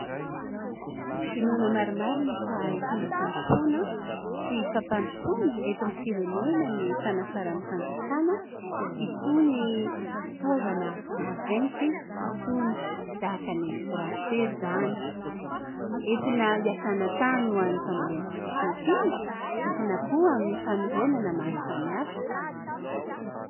Inoana marimarina fa itondra fandrosoana sy fampandrosoana eto amin'ny firenena ny fanafaran'ny fanjakana itony fitaovana maventy itony ; tahaka ny trakitery izany. Entina hiasana tany ho an'ny fambolena sy fiompiana, entina koa amin'ny fanorenana maro samy hafa.